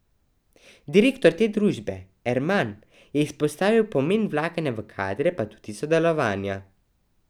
Direktor te družbe Erman je izpostavil pomen vlaganja v kadre, pa tudi sodelovanja.